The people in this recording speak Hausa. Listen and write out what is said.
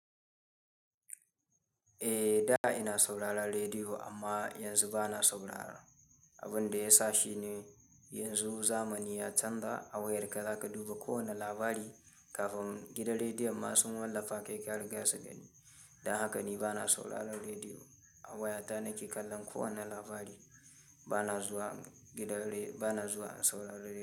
Eh, da ina sauraron rediyo amma yanzu ba na saurara. Abin da ya sa shi ne yanzu zamani ya canza, A wayarka za ka duba kowane labari, kafin gidan rediyon ma sun wallafa kai ka riga su gani. Don haka ni ba na sauraron rediyo. A wayata nake kallon kowane labari. Ba na zuwa gidan re-- ba na zuwa in saurari rediyo.